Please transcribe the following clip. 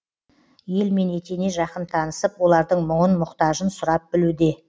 елмен етене жақын танысып олардың мұңын мұқтажын сұрап білуде